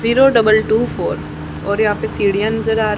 zero double two four और यहां पे सीड़िया नजर आ र--